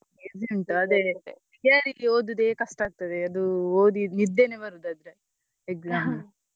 Easy ಉಂಟು ಅದೇ theory ಗೆ ಓದುದೆ ಕಷ್ಟ ಆಗ್ತದೆ ಅದು ಓದಿ ನಿದ್ದೆನೇ ಬರುದು ಅದ್ರಲ್ಲಿ exam ಅಲ್ಲಿ.